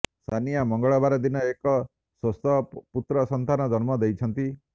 ସାନିୟା ମଙ୍ଗଳବାରଦିନ ଏକ ସ୍ବସ୍ଥ ପୁତ୍ର ସନ୍ତାନ ଜନ୍ମ ଦେଇଛନ୍ତି